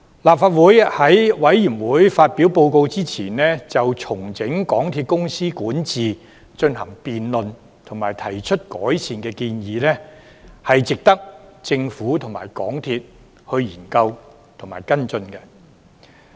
立法會在調查委員會發表報告之前，就重整港鐵公司管治進行辯論及提出改善建議，是值得政府及港鐵公司研究及跟進的。